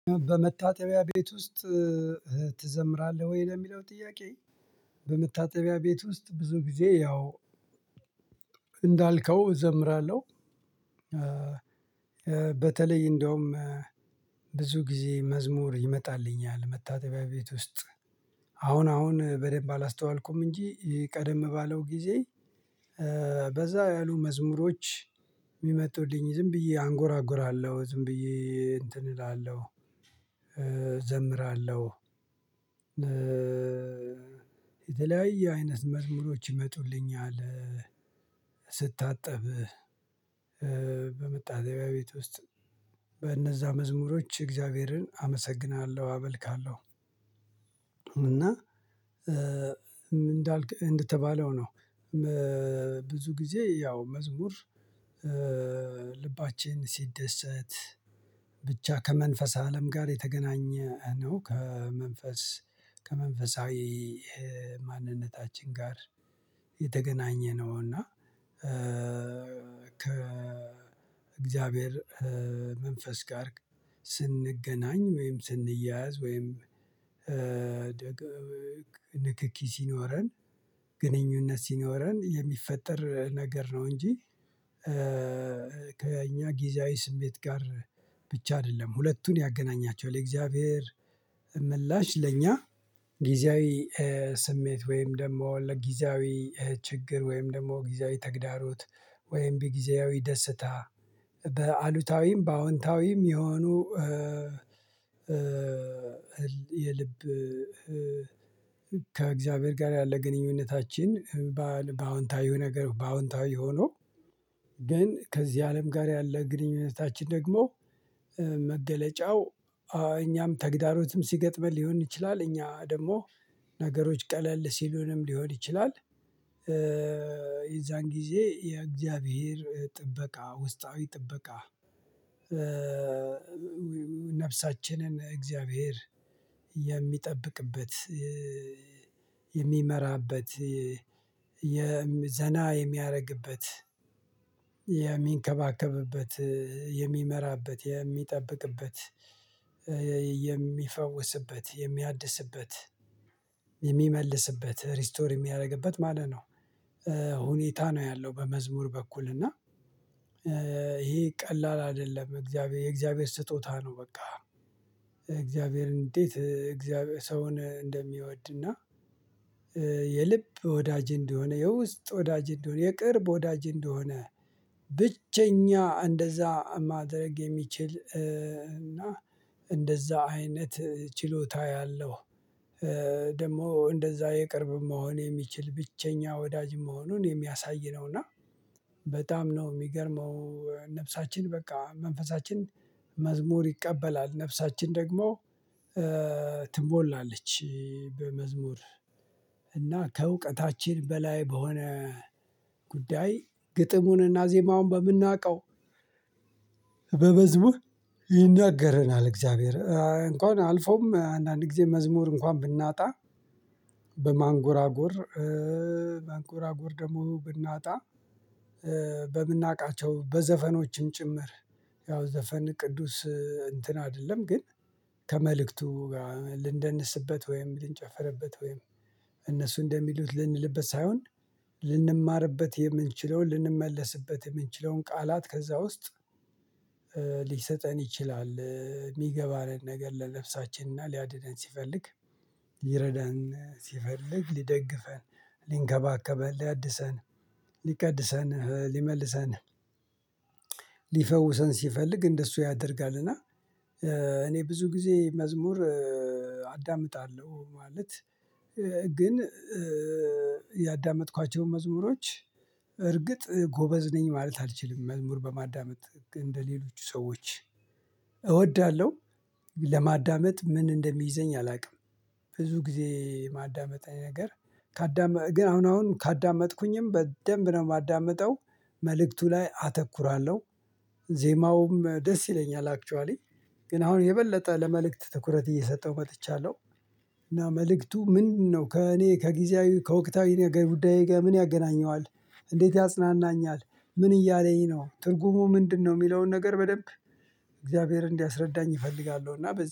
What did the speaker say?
በመታጠቢያ ቤት ውስጥ ትዘምራለህ ወይ ለሚለው ጥያቄ? በመታጠቢያ ቤት ውስጥ ብዙ ጊዜ ያው እንዳልከው እዘምራለሁ። በተለይ እንደውም ብዙ ጊዜ መዝሙር ይመጣልኛል መታጠቢያ ቤት ውስጥ። አሁን አሁን በደንብ አላስተዋልኩም እንጂ ቀደም ባለው ጊዜ በዛ ያሉ መዝሙሮች የሚመጡልኝ ዝም ብዬ አንጎራጉራለሁ ዝም ብዬ እንትን እላለሁ እዘምራለሁ። የተለያየ አይነት መዝሙሮች ይመጡልኛል ስታጠብ በመታጠቢያ ቤት ውስጥ መዝሙሮች እግዚአብሔርን አመሰግናለሁ አመልካለሁ እና እንደተባለው ነው። ብዙ ጊዜ ያው መዝሙር ልባችን ሲደሰት ብቻ ከመንፈስ አለም ጋር የተገናኘ ነው። ከመንፈስ ከመንፈሳዊ ማንነታችን ጋር የተገናኘ ነው። እና ከእግዚአብሔር መንፈስ ጋር ስንገናኝ ወይም ስንያዝ ወይም ንክኪ ሲኖረን ግንኙነት ሲኖረን የሚፈጠር ነገር ነው። እንጂ ከእኛ ጊዜያዊ ስሜት ጋር ብቻ አይደለም። ሁለቱን ያገናኛቸዋል የእግዚአብሔር ምላሽ ለእኛ ጊዜያዊ ስሜት ወይም ደግሞ ለጊዜያዊ ችግር ወይም ደግሞ ጊዜያዊ ተግዳሮት ወይም ቢጊዜያዊ ደስታ። በአሉታዊም በአዎንታዊም የሆኑ የልብ ከእግዚአብሔር ጋር ያለ ግንኙነታችን በአዎንታዊው ነገር በአዎንታዊው ሆኖ ግን ከዚህ አለም ጋር ያለ ግንኙነታችን ደግሞ መገለጫው እኛም ተግዳሮትም ሲገጥመን ሊሆን ይችላል እኛ ደግሞ ነገሮች ቀለል ሲሉንም ሊሆን ይችላል። የዛን ጊዜ የእግዚአብሔር ጥበቃ ውስጣዊ ጥበቃ ነፍሳችንን እግዚአብሔር የሚጠብቅበት የሚመራበት የ ዘና የሚያደርግበት የሚንከባከብበት የሚመራበት የሚጠብቅበት የሚፈውስበት የሚያድስበት የሚመልስበት ሪስቶር የሚያደርግበት ማለት ነው። ሁኔታ ነው ያለው በመዝሙር በኩል እና ይሄ ቀላል አይደለም የእግዚአብሔር ስጦታ ነው። በቃ እግዚአብሔር እንዴት እግዚአብሔር ሰውን እንደሚወድና የልብ ወዳጅ እንደሆነ የውስጥ ወዳጅ እንደሆነ የቅርብ ወዳጅ እንደሆነ ብቸኛ እንደዛ ማድረግ የሚችል እና እንደዛ አይነት ችሎታ ያለው እ ደግሞ እንደዛ የቅርብ መሆን የሚችል ብቸኛ ወዳጅ መሆኑን የሚያሳይ ነው። እና በጣም ነው የሚገርመው ነፍሳችን በቃ መንፈሳችን መዝሙር ይቀበላል ነፍሳችን ደግሞ ትሞላለች። በመዝሙር እና ከእውቀታችን በላይ በሆነ ጉዳይ ግጥሙንና ዜማውን በምናውቀው በመዝሙር ይናገረናል። እግዚአብሔር እንኳን አልፎም አንዳንድ ጊዜ መዝሙር እንኳን ብናጣ በማንጎራጎር ማንጎራጎር ደግሞ ብናጣ በምናውቃቸው በዘፈኖችም ጭምር ያው ዘፈን ቅዱስ እንትን አይደለም ግን ከመልእክቱ ልንደንስበት ወይም ልንጨፈርበት ወይም እነሱ እንደሚሉት ልንልበት ሳይሆን ልንማርበት የምንችለውን ልንመለስበት የምንችለውን ቃላት ከዛ ውስጥ ሊሰጠን ይችላል። የሚገባንን ነገር ለነፍሳችን ሊያድነን ሲፈልግ ሊረዳን ሲፈልግ ሊደግፈን ሊንከባከበን ሊያድሰን ሊቀድሰን ሊመልሰን ሊፈውሰን ሲፈልግ እንደሱ ያደርጋል። እና እኔ ብዙ ጊዜ መዝሙር አዳምጣለሁ ማለት ግን ያዳመጥኳቸውን መዝሙሮች እርግጥ ጎበዝ ነኝ ማለት አልችልም መዝሙር በማዳመጥ እንደሌሎቹ ሰዎች እወዳለሁ ለማዳመጥ ምን እንደሚይዘኝ አላውቅም። ብዙ ጊዜ ማዳመጥ ነገር ካዳመጥ ግን አሁን አሁን ካዳመጥኩኝም በደንብ ነው የማዳምጠው መልእክቱ ላይ አተኩራለሁ ዜማውም ደስ ይለኛል አክቹአሊ ግን አሁን የበለጠ ለመልእክት ትኩረት እየሰጠው መጥቻለሁ። እና መልእክቱ ምንድነው ከእኔ ከጊዜያዊ ከወቅታዊ ነገር ጉዳዬ ጋር ምን ያገናኘዋል? እንዴት ያጽናናኛል? ምን እያለኝ ነው ትርጉሙ ምንድነው? የሚለውን ነገር በደንብ እግዚአብሔር እንዲያስረዳኝ እፈልጋለሁ። እና በዚህ